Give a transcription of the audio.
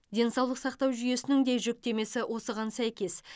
денсаулық сақтау жүйесінің де жүктемесі осыған сәйкес